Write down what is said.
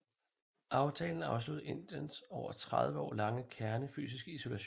Aftalen afsluttede Indiens over tredive år lange kernefysiske isolation